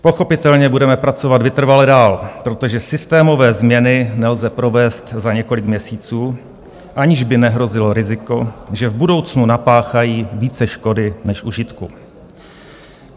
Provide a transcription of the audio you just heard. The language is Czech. Pochopitelně budeme pracovat vytrvale dál, protože systémové změny nelze provést za několik měsíců, aniž by nehrozilo riziko, že v budoucnu napáchají více škody než užitku.